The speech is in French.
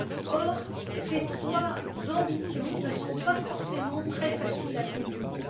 Or, ces trois ambitions ne sont pas forcément très faciles à combiner.